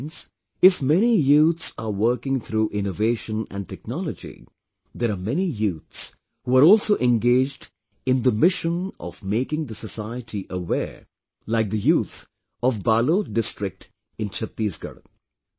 Friends, if many youths are working through innovation and technology, there are many youths who are also engaged in the mission of making the society aware, like the youth of Balod district in Chhattisgarh